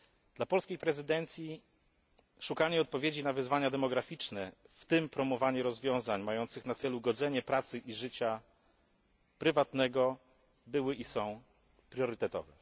Dla polskiej prezydencji szukanie odpowiedzi na wyzwania demograficzne, w tym promowanie rozwiązań mających na celu godzenie pracy i życia prywatnego, jest i będzie priorytetowe.